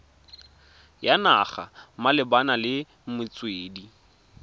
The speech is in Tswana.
ya naga malebana le metswedi